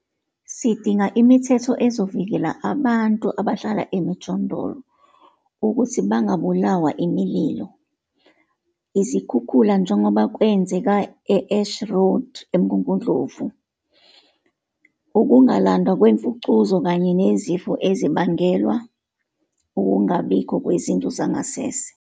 Sidinga imithetho ezovikela abantu abahlala emijondolo ukuthi bangabulawa imililo, izikhukhula njengoba kwenzeka e Ash Road eMgungundlovu, ukungalandwa kwemfucuza kanye nezifo ezibangelwa ukungabiko kwezindlu zangasese.